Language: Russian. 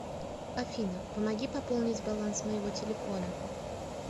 афина помоги пополнить баланс моего телефона